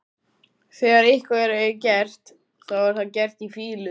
Þegar eitthvað er gert, þá er það gert í fýlu.